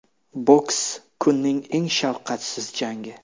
Boks: kunning eng shafqatsiz jangi.